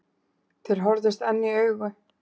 Þeir horfðust enn í augu.